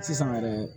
Sisan yɛrɛ